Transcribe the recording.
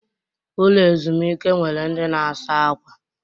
Ụlọ ezumike nwere ndị na-asa ákwà.